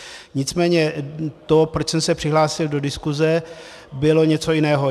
Nicméně to, proč jsem se přihlásil do diskuze, bylo něco jiného.